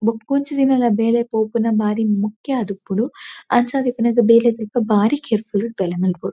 ಬೊಕ್ಕೊಂಜಿ ದಿನಲ ಬೇಲೆಗ್ ಪೋಪುನ ಬಾರಿ ಮುಖ್ಯ ಆದುಪ್ಪುಂಡು ಅಂಚಾದ್ ಇಪ್ಪುನಗ ಬೇಲೆದಲ್ಪ ಬಾರಿ ಕೇರ್ ಫುಲ್ ಡ್ ಬೇಲೆ ಮನ್ಪೊಡು.